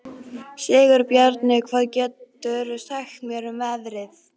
Sigurbjarni, hvað geturðu sagt mér um veðrið?